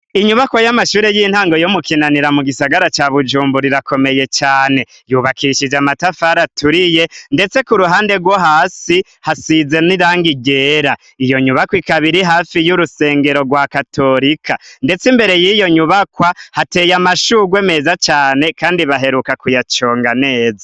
Inyubakwa y'amashure y'intango yo mu Kinanira mu gisagara ca Bujumbura irakomeye cane. Yubakishije amatafari aturiye, ndetse ku ruhande rwo hasi hasize n'irangi ryera. Iyo nyubakwa ikaba iri hafi y'urusengero rwa katorika. Ndeste imbere y'iyo nyubakwa hateye amashurwe meza cane kandi baheruka kuyaconga neza.